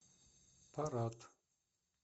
парад